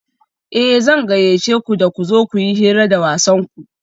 Eh zan gayyace ku da ku zo kuyi hira da wasanku